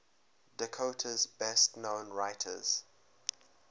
dakota's best known writers